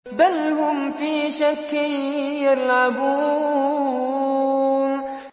بَلْ هُمْ فِي شَكٍّ يَلْعَبُونَ